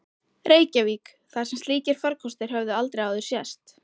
Reykjavík, þar sem slíkir farkostir höfðu aldrei áður sést.